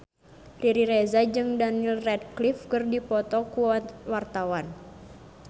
Riri Reza jeung Daniel Radcliffe keur dipoto ku wartawan